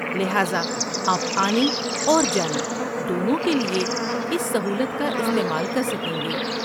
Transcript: لہذا آپ آنے اور جانے دونوں کے لیے اس سہولت کا استعمال کر سکیں گے۔